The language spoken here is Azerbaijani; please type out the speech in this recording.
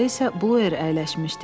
Arxada isə Blueer əyləşmişdi.